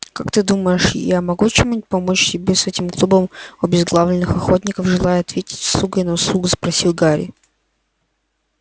как ты думаешь я могу чем-нибудь помочь тебе с этим клубом обезглавленных охотников желая ответить услугой на услугу спросил гарри